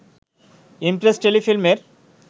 Impress টেলিফিল্মের